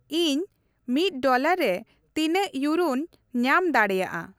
ᱤᱧ ᱢᱤᱫ ᱰᱚᱞᱟᱨ ᱨᱮ ᱛᱤᱱᱟᱹᱜ ᱤᱣᱨᱳᱧ ᱧᱟᱢ ᱫᱟᱲᱮᱭᱟᱜᱼᱟ ?